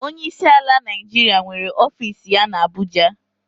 Onyeisi ala Naijiria nwere ọfiisi ya na Abụja.